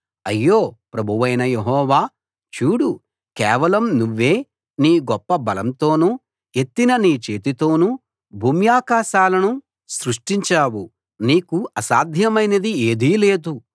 అయ్యో ప్రభువైన యెహోవా చూడు కేవలం నువ్వే నీ గొప్ప బలంతోను ఎత్తిన నీ చేతితోనూ భూమ్యాకాశాలను సృష్టించావు నీకు అసాధ్యమైనది ఏదీ లేదు